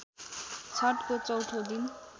छठको चौथो दिन